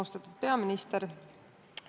Austatud peaminister!